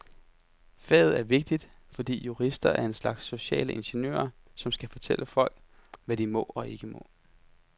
Faget er vigtigt, fordi jurister er en slags sociale ingeniører, som skal fortælle folk, hvad de må og ikke må.